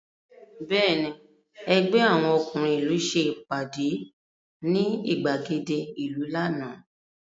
Bẹ́ẹ̀ni, ẹgbẹ́ àwọn ọkúnrin ìlú ṣe ìpàdé ní ìgbàgede ìlú lánàá